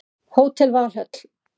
Hótel Valhöll